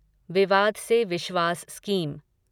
विवाद से विश्वास स्कीम